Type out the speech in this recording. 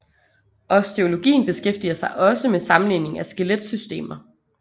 Osteologien beskæftiger sig også med sammenligning af skeletsystemer